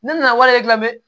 Ne nana warijɛ dilan dɛ